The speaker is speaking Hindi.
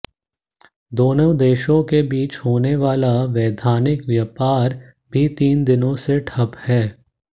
दोनों देशों के बीच होने वाला वैधानिक व्यापार भी तीन दिनों से ठप है